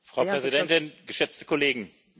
Frau Präsidentin, geschätzte Kollegen!